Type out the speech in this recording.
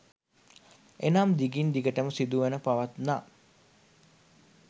එනම් දිගින් දිගටම සිදුව පවත්නා